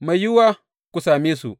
Mai yiwuwa ku same su.